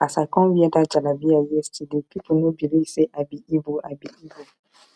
as i come wear that jalabiya yesterday people no believe say i be igbo i be igbo